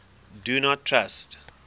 do not trust